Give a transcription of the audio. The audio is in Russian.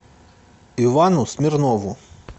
ивану смирнову